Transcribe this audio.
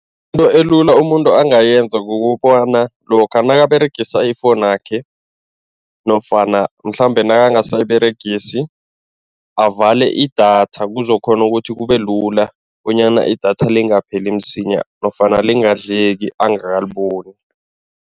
Into elula umuntu angayenza kukobana lokha nakaberegisa ifowunakhe nofana mhlambe nakangasayiberegisi, avale idatha kuzokukghona ukuthi kube lula bonyana idatha lingapheli msinya nofana lingadleki angakaliboni.